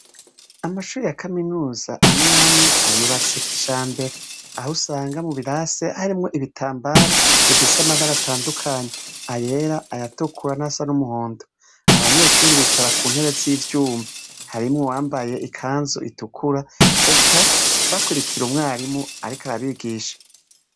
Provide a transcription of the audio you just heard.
Amashuri ya kaminuza amwamwe ayubatse kijambere aho usanga mu birase harimwo ibitambaro bifise amabare atandukanye: ayera, ayatukura nayasa n'umuhondo, abanyeshuri bicara ku ntebe z'ivyuma, harimo uwambaye ikanzu itukura, eka bakurikira umwarimu ariko arabigisha.